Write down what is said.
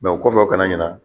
Mɛ o kɔfɛ u kana ɲina.